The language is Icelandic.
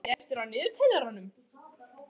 Eyfríður, hvað er mikið eftir af niðurteljaranum?